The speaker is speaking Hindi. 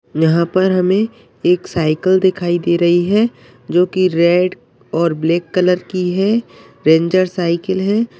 यहाँ पर हमें एक साइकिल दिखाई दे रही है जोकि रेड और ब्लैक कलर की है। रेंजर साइकिल है।